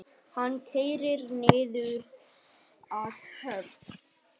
Hann keyrir niður að höfn.